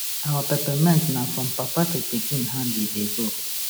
our peppermint na from papa to pikin hand e dey go